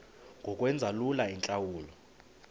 ngokwenza lula iintlawulo